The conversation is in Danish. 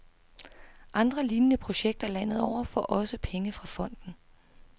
Andre lignende projekter landet over får også penge fra fonden.